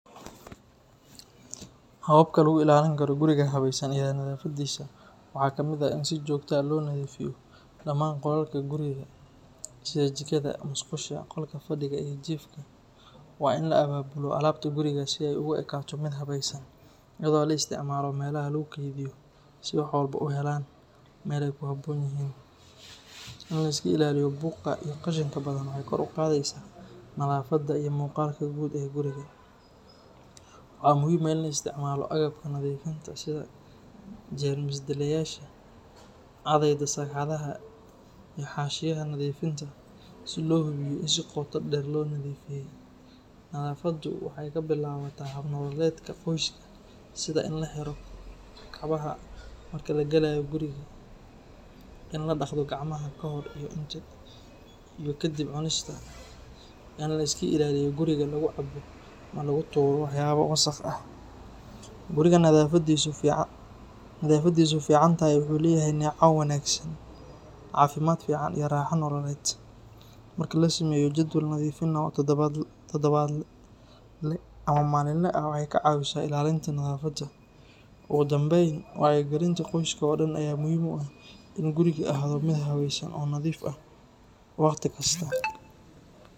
Hababka lagu ilalin karo guriga habesan waxaa kamiid ah in si jogto ah lo nadhiifiyo, in liska ilaliyo buqa iyo qashinka badan waxee kor uqadheysa nadhafaada, nadhafaada waxee kabilawata qoyska in laska ilaliyo in lagu turo qashinka, ogu danben in guriga ahado miid hawesan oo nadhif ah oo hawesan.